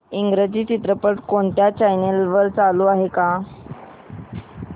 इंग्रजी चित्रपट कोणत्या चॅनल वर चालू आहे का